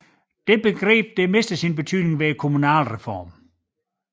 Det begreb mistede sin betydning ved kommunalreformen